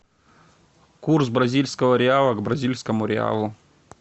курс бразильского реала к бразильскому реалу